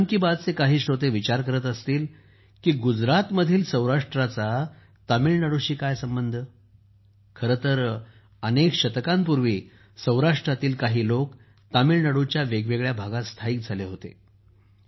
मन की बातचे काही श्रोते विचार करत असतील की गुजरातमधील सौराष्ट्राचा तामिळनाडूशी काय संबंध खरं तर अनेक शतकांपूर्वी सौराष्ट्रातील अनेक लोक तामिळनाडूच्या वेगवेगळ्या भागात स्थायिक झाले होते